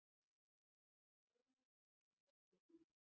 Logi byltingar fer yfir